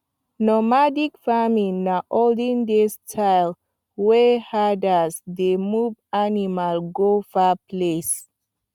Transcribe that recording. normadic farming na olden days style wey herders dey move animals go far places